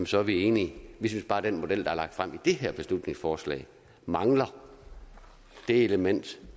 så er vi enige vi synes bare at den model der er lagt frem i det her beslutningsforslag mangler det element